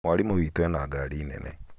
Mwarĩmũ witũ ena ngari Nene